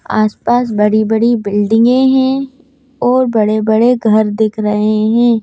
आसपास बड़ी-बड़ी बिल्डिंगें हैं और बड़े-बड़े घर दिख रहे हैं।